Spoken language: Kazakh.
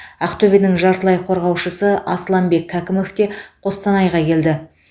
ақтөбенің жартылай қорғаушысы асланбек кәкімов те қостанайға келді